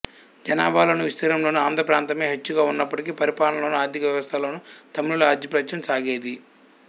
జనాభాలోను విస్తీర్ణంలోను ఆంధ్ర ప్రాంతమే హెచ్చుగా ఉన్నప్పటికీ పరిపాలనలోను ఆర్థిక వ్యవస్థలోను తమిళుల ఆధిపత్యం సాగేది